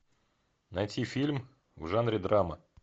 найти фильм в жанре драма